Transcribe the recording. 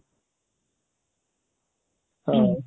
ହଁ